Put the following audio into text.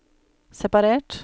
separert